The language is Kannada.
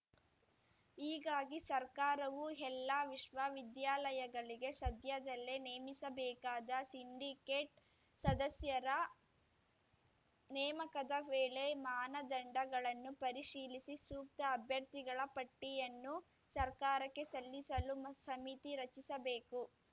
ಹೀಗಾಗಿ ಸರ್ಕಾರವು ಎಲ್ಲಾ ವಿಶ್ವವಿದ್ಯಾಲಯಗಳಿಗೆ ಸದ್ಯದಲ್ಲೇ ನೇಮಿಸಬೇಕಾದ ಸಿಂಡಿಕೇಟ್‌ ಸದಸ್ಯರ ನೇಮಕದ ವೇಳೆ ಮಾನದಂಡಗಳನ್ನು ಪರಿಶೀಲಿಸಿ ಸೂಕ್ತ ಅಭ್ಯರ್ಥಿಗಳ ಪಟ್ಟಿಯನ್ನು ಸರ್ಕಾರಕ್ಕೆ ಸಲ್ಲಿಸಲು ಸಮಿತಿ ರಚಿಸಬೇಕು